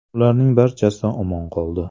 Ularning barchasi omon qoldi.